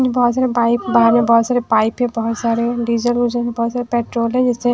बहोत सारे बाइक बाहर में बहोत पाइप है बहोत सारे डीजल विजेल बहोत सारे पेट्रोल है जिसे--